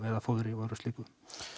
eða fóðri og öðru slíku